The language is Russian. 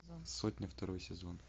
сотня второй сезон